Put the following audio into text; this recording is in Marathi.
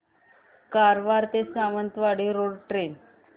कारवार ते सावंतवाडी रोड ट्रेन